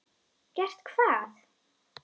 Gert hvað?